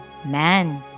Mən.